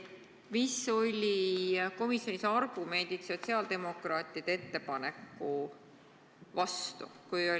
Mis olid komisjonis argumendid sotsiaaldemokraatide ettepaneku vastu?